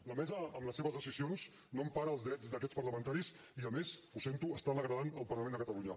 la mesa amb les seves decisions no empara els drets d’aquests parlamentaris i a més ho sento està degradant el parlament de catalunya